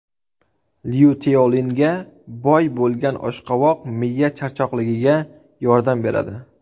Lyuteolinga boy bo‘lgan oshqovoq miya charchoqligiga yordam beradi.